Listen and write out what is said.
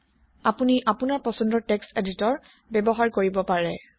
আপোনি আপোনাৰ পছন্দৰ টেক্সট এদিতৰ ব্যৱহাৰ কৰিব পাৰে